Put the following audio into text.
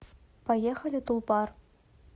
поехали тулпар